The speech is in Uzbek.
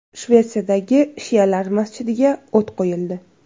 Shvetsiyadagi shialar masjidiga o‘t qo‘yildi.